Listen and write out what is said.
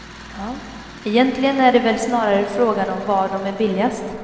Egentligen är det väl snarare frågan om var de är billigast.